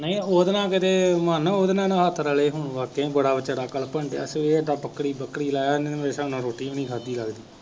ਨਹੀਂ ਉਹਦੇ ਨਾਲ ਕਿਤੇ, ਮਨ ਉਹਦੇ ਨਾਲ ਨਾ ਹੱਥ ਰਲੇ ਹੋਣ, ਵਾਕਿਆ ਹੀ ਬੜਾ ਬੇਚਾਰਾ ਕਲਪਣ ਡਿਆ, ਕਿ ਇਹ ਤਾਂ ਬੱਕਰੀ ਬੱਕਰੀ ਲੈ ਆਉਂਦੇ, ਮੇਰੇ ਹਿਸਾਬ ਨਾਲ ਰੋਟੀ ਵੀ ਨਹੀਂ ਖਾਧੀ ਲੱਗਦਾ।